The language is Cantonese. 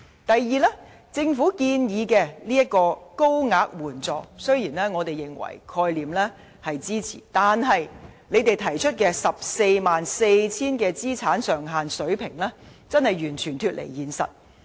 第二，政府建議增加一層高額援助，雖然我們支持這個概念，但政府提出的 144,000 元資產上限水平真的完全脫離現實。